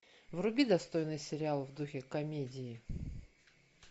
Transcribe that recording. вруби достойный сериал в духе комедии